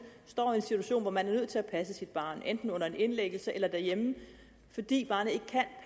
står i en situation hvor man er nødt til at passe sit barn enten under en indlæggelse eller derhjemme fordi barnet ikke kan